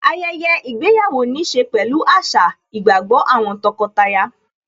ayẹyẹ ìgbéyàwó níí ṣe pẹ̀lú àṣà, ìgbàgbọ́ àwọn tọkọtaya